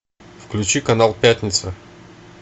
включи канал пятница